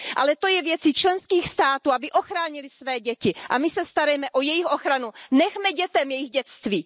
Ale to je věcí členských států, aby ochránily své děti, a my se starejme o jejich ochranu, nechme dětem jejich dětství.